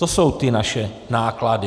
To jsou ty naše náklady.